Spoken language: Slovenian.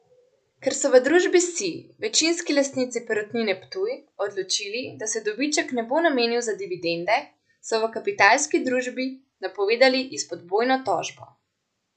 Ker so v družbi Sij, večinski lastnici Perutnine Ptuj, odločili, da se dobiček ne bo namenil za dividende, so v Kapitalski družbi napovedali izpodbojno tožbo.